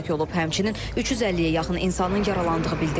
Həmçinin 350-yə yaxın insanın yaralandığı bildirilir.